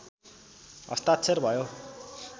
हस्ताक्षर भयो